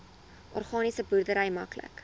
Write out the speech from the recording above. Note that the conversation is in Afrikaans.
organiese boerdery maklik